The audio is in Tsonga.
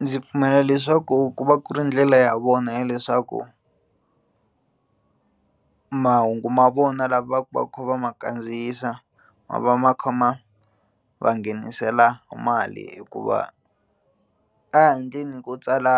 Ndzi pfumela leswaku ku va ku ri ndlela ya vona ya leswaku mahungu ma vona lava va ku va kha va ma kandziyisa ma va ma kha ma va nghenisela mali hikuva ko tsala